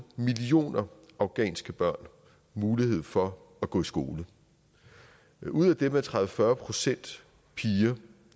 millioner afghanske børn mulighed for at gå i skole ud af dem er tredive til fyrre procent piger